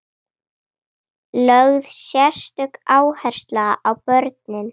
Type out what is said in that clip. Lögð sérstök áhersla á börnin.